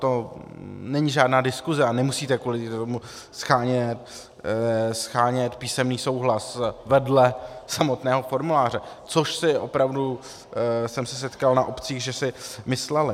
To není žádná diskuse a nemusíte kvůli tomu shánět písemný souhlas vedle samotného formuláře, což si opravdu... jsem se setkal na obcích, že si mysleli.